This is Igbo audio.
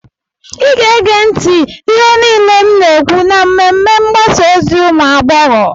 ị ga-ege ntị ihe niile m na-ekwu na mmemme mgbasa ozi ụmụ agbọghọ